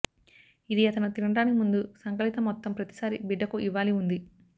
ఇది అతను తినడానికి ముందు సంకలిత మొత్తం ప్రతిసారీ బిడ్డకు ఇవ్వాలి ఉంది